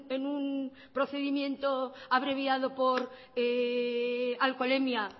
en un procedimiento abreviado por alcoholemia